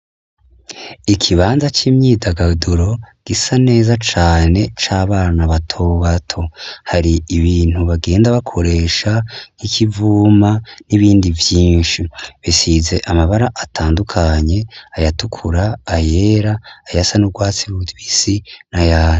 Ikibanza c'imyidagaduro gisa neza cane c'abana batobato. Hari ibintu bagenda bakoresha nk'ikivuma n'ibindi vyinshi bisize amabara atandukanye ayatukura, ayera, ayasa n'urwatsi rutoto n'ayera.